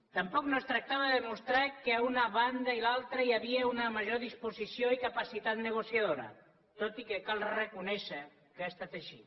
tampoc no es tractava de demostrar que a una ban da i altra hi havia una major disposició i capacitat negociadora tot i que cal reconèixer que ha estat així